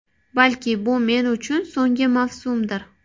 Balki, bu men uchun so‘nggi mavsumdir.